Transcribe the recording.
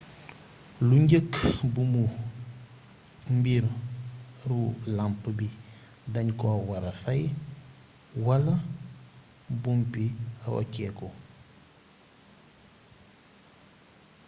lu njeekk buumu mbiir ru lamp bi dagnko wara fay wala buumbi roccéku